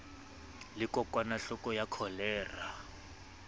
le kokwanahloko ya ya kholera